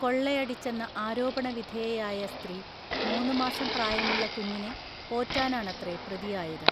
കൊള്ളയടിച്ചെന്ന ആരോപണവിധേയയായ സ്ത്രീ മൂന്നുമാസം പ്രായമുള്ള കുഞ്ഞിനെ പോറ്റാനാണത്രെ പ്രതിയായത്